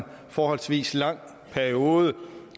forholdsvis lang periode